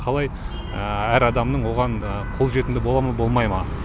қалай әр адамның оған қолжетімді бола ма болмай ма